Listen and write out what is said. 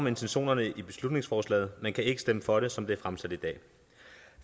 intentionerne i beslutningsforslaget men kan ikke stemme for det som det er fremsat